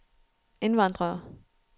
indvandrere